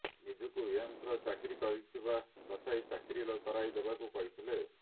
ନିଜକୁ ଏମ୍ସରେ ଚାକିରୀ କରିଥିବା ଦର୍ଶାଇ ଚାକିରୀ କରାଇ ଦେବାକୁ କହିଥିଲେ